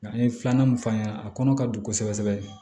Nka n ye filanan min fɔ a ɲɛna a kɔnɔ ka don kosɛbɛ kosɛbɛ